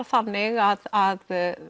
þannig að